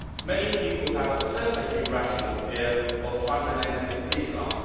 Many people have a perfectly rational fear of fundamentalist Islam.